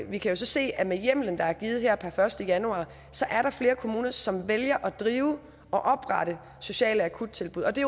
vi kan så se at med hjemmelen der er givet her per første januar er der flere kommuner som vælger at drive og oprette sociale akuttilbud og det